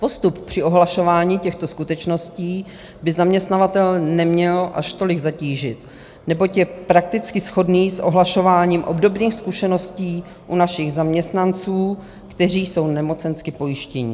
Postup při ohlašování těchto skutečností by zaměstnavatele neměl až tolik zatížit, neboť je prakticky shodný s ohlašováním obdobných skutečností u našich zaměstnanců, kteří jsou nemocensky pojištění.